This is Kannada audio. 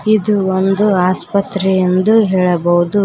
ಇದು ಒಂದು ಆಸ್ಪತ್ರೆ ಎಂದು ಹೇಳಬಹುದು.